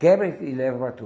Quebra e leva para tu.